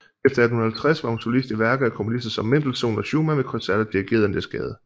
Efter 1850 var hun solist i værker af komponister som Mendelssohn og Schumann ved koncerter dirigeret af Niels Gade